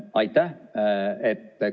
Aitäh!